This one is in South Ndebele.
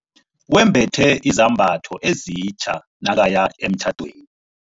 Wembethe izambatho ezitja nakaya emtjhadweni.